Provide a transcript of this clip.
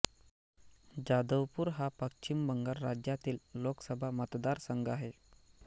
जादवपूर हा पश्चिम बंगाल राज्यातील लोकसभा मतदारसंघ आहे